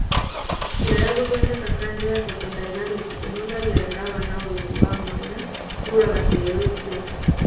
Njĩra ya gũthondeka kanja ya photodaĩnamĩki ĩhũthĩraga ndawa na ũtheri wa mwanya kũraga cero icio